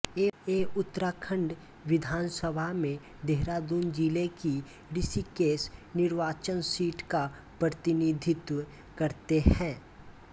यें उत्तराखण्ड विधानसभा में देहरादून जिले की ऋषिकेश निर्वाचन सीट का प्रतिनिधित्व करते हैं